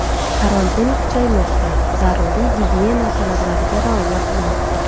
Karantin kuchaymoqda, zaruriy gigiyena talablariga rioya qiling.